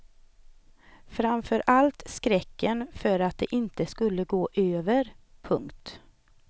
Framför allt skräcken för att det inte skulle gå över. punkt